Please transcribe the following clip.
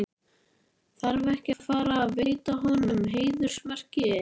Þarf ekki að fara veita honum heiðursmerki?